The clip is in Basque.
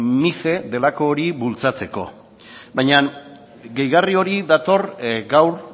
mice delako hori bultzatzeko baina gehigarri hori dator gaur